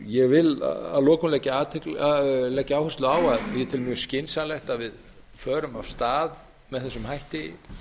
ég vil að lokum leggja áherslu á að ég tel mjög skynsamlegt að við förum af stað með þessum hætti